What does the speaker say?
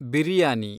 biryani